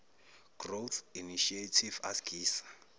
growth initiative asgisa